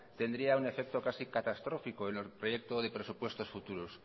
tendría un efecto casi catastrófico en el proyecto de presupuestos futuros